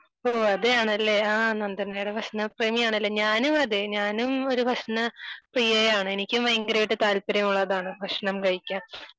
ഓഹ് അതേയാണല്ലേ ആഹ് നന്ദനയുടെ പ്രശ്നം തന്നെയാണ് ഓഹ് ഞാനും അതെ ഞാനും ഒരു ഭക്ഷണ പ്രിയയാണ് എനിക്കും ഭയങ്കരയിട്ട് താല്പര്യം ഉള്ളതാണ് ഭക്ഷണം കഴിക്കാൻ